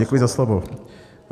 Děkuji za slovo.